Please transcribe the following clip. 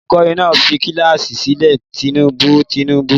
Olùkọ́ní náà fi kíláàsì sílẹ̀ tìbínú-tìbínú?